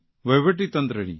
વહીવટીતંત્રની